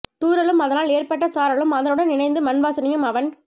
தூறலும் அதனால் ஏற்பட்ட சாரலும் அதனுடன் இணைந்த மண் வாசனையும் அவன்